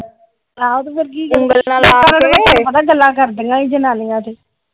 ਤੁਹਾਨੂੰ ਪਤਾ ਗੱਲਾਂ ਕਰਦਿਆਂ ਸੀ ਜਨਾਨੀਆਂ ਤੇ ।